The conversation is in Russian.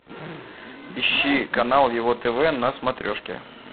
ищи канал его тв на смотрешке